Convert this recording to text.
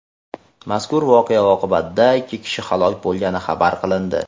Mazkur voqea oqibatida ikki kishi halok bo‘lgani xabar qilindi.